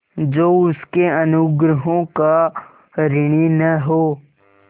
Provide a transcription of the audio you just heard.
जो उसके अनुग्रहों का ऋणी न हो